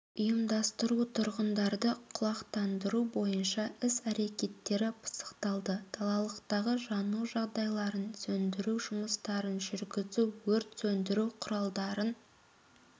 ұйымдастыру тұрғындарды құлақтандыру бойынша іс-әрекеттері пысықталды далалықтағы жану жағдайларын сөндіру жұмыстарын жүргізу өрт сөндіру құралдарын